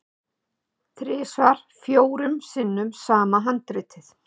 Þrisvar fjórum sinnum sama handritið?